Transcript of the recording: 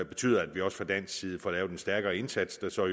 betyde at vi også fra dansk side får lavet en stærkere indsats der så